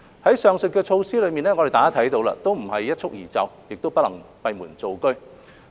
大家看到上述的措施都不是一蹴而就，亦不能閉門造車。